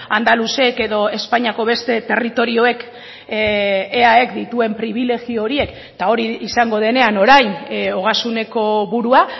andaluzek edo espainiako beste territorioek eaek dituen pribilegio horiek eta hori izango denean orain ogasuneko burua